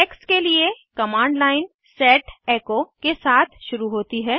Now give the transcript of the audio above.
text के लिए command line set echo के साथ शुरू होती है